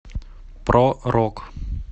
про рок